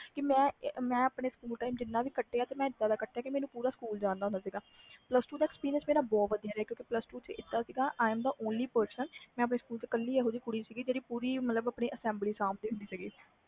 ਮੈਂ ਆਪਣਾ ਸਕੂਲ ਜਿਨ੍ਹਾਂ ਵੀ time ਘਟਿਆ ਇਹਦਾ ਦਾ ਘਟਿਆ ਕਿ ਮੈਨੂੰ ਸਾਰਾ ਸਕੂਲ ਜਾਂਦਾ ਸੀ plus two ਦਾ experience ਬਹੁਤ ਵਧੀਆ ਸੀ ਕਿਉਕਿ ਮਈ ਆਪਣੇ ਸਕੂਲ ਵਿਚ ਏਕੋ ਇਹੋ ਜਿਹੀ ਕੁੜੀ ਸੀ ਜਿਹੜੀ ਇੱਕਲੀ assembly ਸਬ ਦੀ ਹੁੰਦੀ ਵੀ